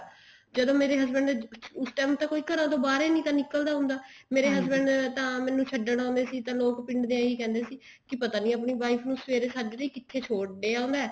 ਜਦੋਂ ਮੇਰ husband ਨੇ ਉਸ time ਤਾਂ ਕੋਈ ਘਰਾਂ ਚੋਂ ਬਾਹਰ ਹੀ ਨੀ ਨਿਕਲਦਾ ਹੁੰਦਾ ਮੇਰੇ husband ਤਾਂ ਮੈਨੂੰ ਛੱਡਣ ਆਉਂਦੇ ਸੀ ਤਾਂ ਪਿੰਡ ਦੇ ਏਵੇਂ ਹੀ ਕਹਿੰਦੇ ਸੀ ਪਤਾ ਨੀ ਆਪਣੀ wife ਨੂੰ ਸਵੇਰੇ ਸਾਝਰੇ ਹੀ ਕਿੱਥੇ ਛੱਡ ਆਉਂਦਾ